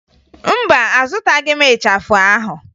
Mba, azụtaghị m ịchafụ ahụ